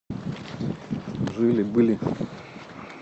жили были